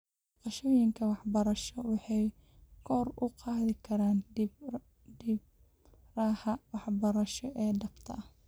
Booqashooyinka waxbarasho waxay kor u qaadi karaan khibradaha waxbarasho ee dhabta ah.